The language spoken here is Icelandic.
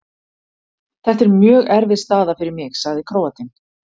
Þetta er mjög erfið staða fyrir mig, sagði Króatinn.